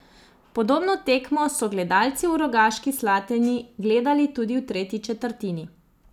Podobno tekmo so gledalci v Rogaški Slatini gledali tudi v tretji četrtini.